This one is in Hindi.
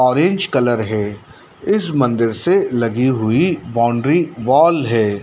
ऑरेंज कलर है इस मंदिर से लगी हुई बाउंड्री वॉल है।